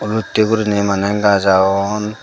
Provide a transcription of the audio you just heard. oloitte gurinei mane gaz agon.